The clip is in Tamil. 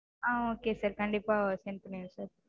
ஆஹ் okay sir கண்டிப்பா send பண்ணிடறேன் sir